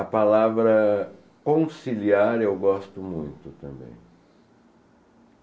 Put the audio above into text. A palavra conciliar eu gosto muito também.